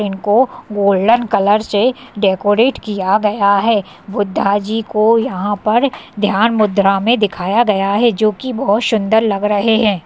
इनको golden colour से decorate किया गया है। बुद्धा जी को यहाँ पर ध्यान मुद्रा में दिखाया गया है जोकि बहोत सुंदर लग रहे हैं।